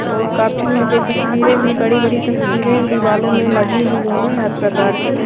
और काफी यहाँ पे तस्बीरे भी बड़ी बड़ी तस्बीरे दीवारो में लगी हुई है हर प्रकार की ।